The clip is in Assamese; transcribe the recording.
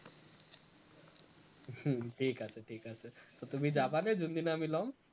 হম ঠিক আছে ঠিক আছে, তো তুমি যাবানে যোন দিনা আমি লম